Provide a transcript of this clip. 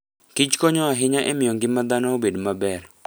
kich konyo ahinya e miyo ngima dhano obed maber.